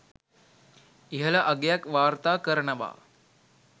ඉහළ අගයක් වාර්තා කරනවා.